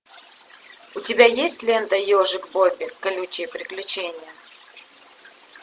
у тебя есть лента ежик бобби колючие приключения